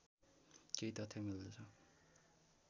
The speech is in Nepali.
केही तथ्य मिल्दछ